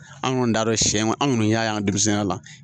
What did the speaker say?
An kɔni t'a dɔn siɲɛ an kɔni y'a ye an denmisɛnninya la